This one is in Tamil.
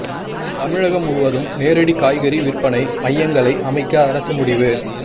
தமிழகம் முழுவதும் நேரடி காய்கறி விற்பனை மையங்களை அமைக்க அரசு முடிவு